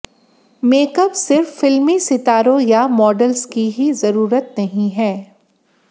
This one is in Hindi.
मेकअप सिर्फ फिल्मी सितारों या मॉडल्स की ही जरूरत नहीं है